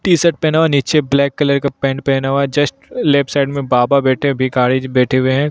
T-shirt पहना हुआ है नीचे ब्लैक कलर का पैंट पहना हुआ है जस्ट लेफ्ट साइड में बाबा बैठे भिखारी जी बैठे हुए हैं।